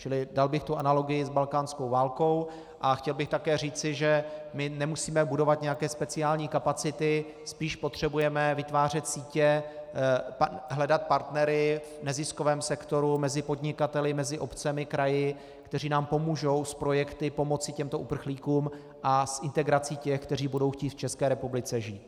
Čili dal bych tu analogii s balkánskou válkou a chtěl bych také říci, že my nemusíme budovat nějaké speciální kapacity, spíš potřebujeme vytvářet sítě, hledat partnery v neziskovém sektoru, mezi podnikateli, mezi obcemi, kraji, kteří nám pomůžou s projekty pomoci těmto uprchlíkům a s integrací těch, kteří budou chtít v České republice žít.